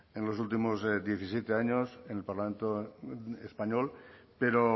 en los últimos diecisiete años en el parlamento español pero